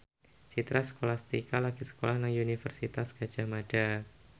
Citra Scholastika lagi sekolah nang Universitas Gadjah Mada